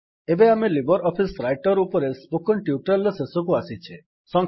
ଏବେ ଆମେ LibreOffice Writer ଉପରେ ସ୍ପୋକେନ୍ ଟ୍ୟୁଟୋରିଆଲ୍ ର ଶେଷକୁ ଆସିଛେ